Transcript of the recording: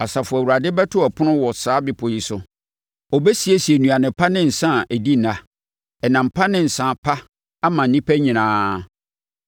Asafo Awurade bɛto ɛpono wɔ saa bepɔ yi so. Ɔbɛsiesie nnuane pa ne nsã a adi nna, ɛnam pa ne nsã pa ama nnipa nyinaa.